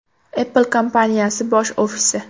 Apple kompaniyasi bosh ofisi.